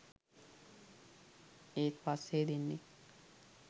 ඒත් පස්සෙ දෙන්නෙක්